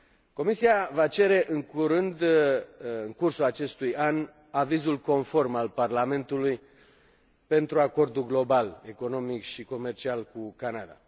Comisia va cere în curând, în cursul acestui an, avizul conform al Parlamentului pentru acordul global, economic și comercial cu Canada.